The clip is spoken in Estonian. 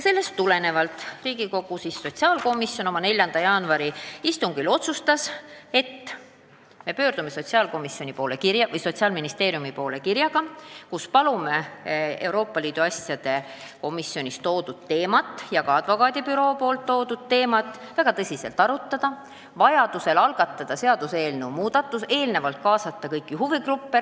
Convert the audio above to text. Sellest tulenevalt Riigikogu sotsiaalkomisjon otsustas pöörduda Sotsiaalministeeriumi poole kirjaga, kus me palume Euroopa Liidu asjade komisjonis arutatud teemat, mille tõstatas advokaadibüroo, väga tõsiselt arutada, vajadusel algatada uus seaduseelnõu ja kaasata selle koostamisse kõiki huvigruppe.